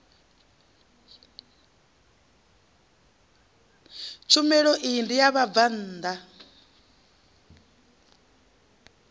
tshumelo iyi ndi ya vhabvann